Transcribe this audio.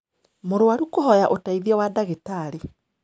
Mũrwaru kũhoya ũteithio wa ndagĩtarĩ.